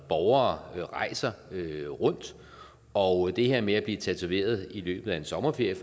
borgere rejser rundt og det her med at blive tatoveret i løbet af en sommerferie